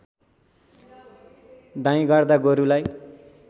दाइँ गर्दा गोरुलाई